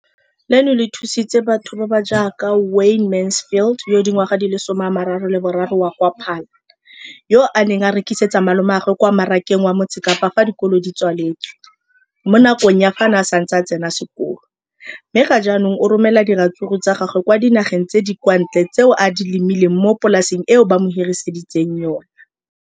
Leno le thusitse batho ba ba jaaka Wayne Mansfield, 33, wa kwa Paarl, yo a neng a rekisetsa malomagwe kwa Marakeng wa Motsekapa fa dikolo di tswaletse, mo nakong ya fa a ne a santse a tsena sekolo, mme ga jaanong o romela diratsuru tsa gagwe kwa dinageng tsa kwa ntle tseo a di lemileng mo polaseng eo ba mo hiriseditseng yona.